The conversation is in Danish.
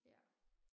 Ja